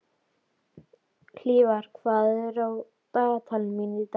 Hlífar, hvað er á dagatalinu mínu í dag?